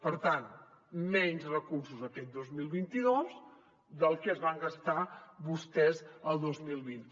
per tant menys recursos aquest dos mil vint dos que el que es van gastar vostès el dos mil vint